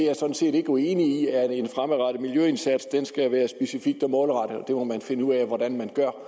er sådan set ikke uenig i at en fremadrettet miljøindsats skal være specifik og målrettet og det må man finde ud af hvordan man gør